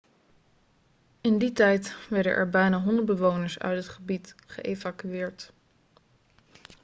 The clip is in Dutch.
in die tijd werden er bijna 100 bewoners uit het gebied geëvacueerd